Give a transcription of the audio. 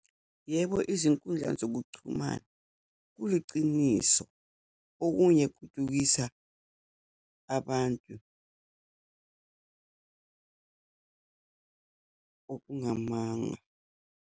Yebo, izinkundla zokuchumana, kuyiciniso, okunye kubukisa abantu okungamanga.